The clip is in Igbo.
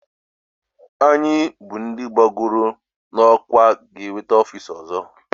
Anyị bụ ndị ebugoro n'ọkwá ga-enweta ofiisi ọzọ